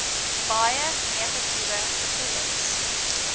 baie negatiewe gevoelens